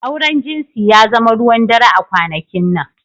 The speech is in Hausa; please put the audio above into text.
Auren jinsi ya zama ruwan dare a kwanakin nan.